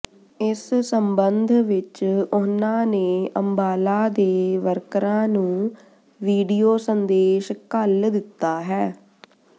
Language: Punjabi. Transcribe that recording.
ਇਸ ਸਬੰਧ ਵਿਚ ਉਨ੍ਹਾਂ ਨੇ ਅੰਬਾਲਾ ਦੇ ਵਰਕਰਾਂ ਨੂੰ ਵੀਡੀਓ ਸੰਦੇਸ਼ ਘੱਲ ਦਿੱਤਾ ਹੈ